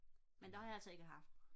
men det har jeg altså ikke haft